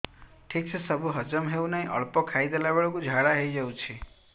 ଠିକସେ ସବୁ ହଜମ ହଉନାହିଁ ଅଳ୍ପ ଖାଇ ଦେଲା ବେଳ କୁ ଝାଡା ହେଇଯାଉଛି